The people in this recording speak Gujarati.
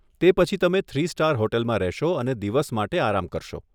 તે પછી તમે થ્રી સ્ટાર હોટલમાં રહેશો અને દિવસ માટે આરામ કરશો.